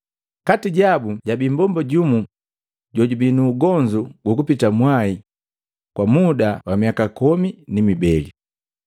Kati jabu jabii mmbomba jumu jojubii nu ugonzu gukupita mwai kwa muda wa miaka komi ni mibele.